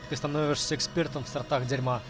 ты становишься экспертом в картах